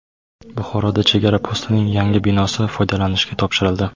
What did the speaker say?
Buxoroda chegara postining yangi binosi foydalanishga topshirildi.